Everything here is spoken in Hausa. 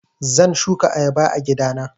Zan shuka ayaba a gida na.